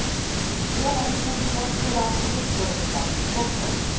Det gjelder ikke minst norske landbruksprodukter. punktum